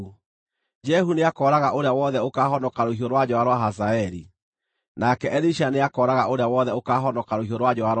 Jehu nĩakooraga ũrĩa wothe ũkaahonoka rũhiũ rwa njora rwa Hazaeli, nake Elisha nĩakooraga ũrĩa wothe ũkaahonoka rũhiũ rwa njora rwa Jehu.